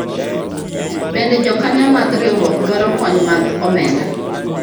bende jokanyo mar riwruok dwaro kony mag omenda ?